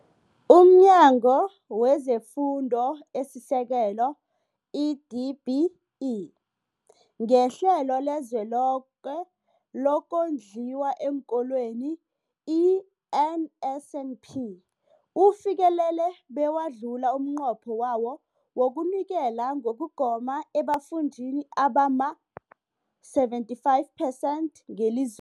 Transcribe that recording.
UmNyango wezeFundo esiSekelo, i-DBE, ngeHlelo leliZweloke lokoNdliwa eenKolweni, i-NSNP, ufikelele bewadlula umnqopho wawo wokunikela ngokugoma ebafundini abama-75 phesenthi ngeliz